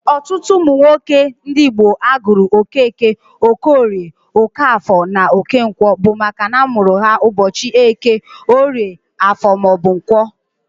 Ọtụtụ ụmụ nwoke ndị Igbo a gụrụ Okeke, Okeorie (Okeoye or Okoye), Okeafọ (Okafọ) na Okenkwọ (Okonkwọ), bụ makana a mụrụ ha ụbọchị Eke, Orie, Afọ ma ọ bụ Nkwọ.